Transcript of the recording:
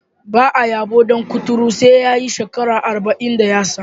Ba a yabon dan kuturu sai ya yi shekara arba'in da yatsa.